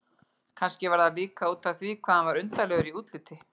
Kannski var það líka útaf því hvað hann var undarlegur í útliti.